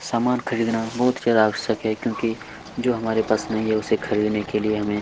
सामान खरीदना बहुत ज्यादा आवश्यक है क्योंकि जो हमारे पास नहीं है उसे खरीदने के लिए हमें--